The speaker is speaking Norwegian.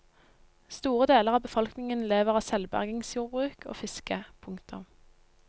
Store deler av befolkningen lever av selvbergingsjordbruk og fiske. punktum